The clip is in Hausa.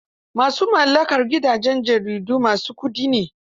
Ma su mallakar gidajen jaridu ma su kuɗi ne